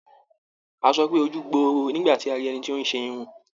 A sọ pé "ojú gbooro o" nígbà tí a rí ẹni tí ó ń ṣe irun.